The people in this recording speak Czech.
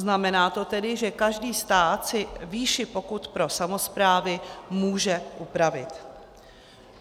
Znamená to tedy, že každý stát si výši pokut pro samosprávy může upravit.